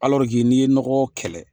Alɔrike n'i ye nɔgɔ kɛlɛ